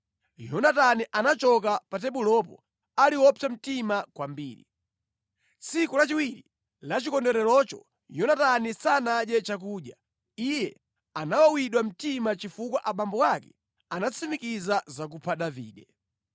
Yonatani anachoka pa tebulopo ali wopsa mtima kwambiri. Tsiku lachiwiri la chikondwererocho Yonatani sanadye chakudya. Iye anawawidwa mtima chifukwa abambo ake anatsimikiza zakupha Davide.